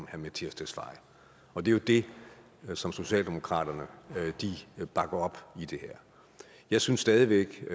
herre mattias tesfaye og det er det som socialdemokratiet bakker op i det her jeg synes stadig væk at